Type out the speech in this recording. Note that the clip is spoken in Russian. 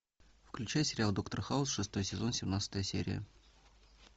включай сериал доктор хаус шестой сезон семнадцатая серия